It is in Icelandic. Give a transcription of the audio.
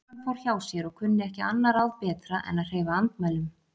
Konan fór hjá sér og kunni ekki annað ráð betra en að hreyfa andmælum.